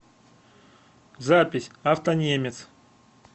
запись автонемец